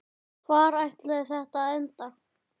Hvar ætlaði þetta að enda?